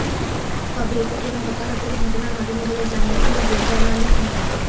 তবে এতে কোনো হতাহতের ঘটনা ঘটেনি বলে জানিয়েছেন ড্রেজার মালিক মো